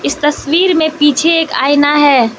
इस तस्वीर मे पीछे एक आइना है।